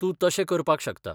तूं तशें करपाक शकता.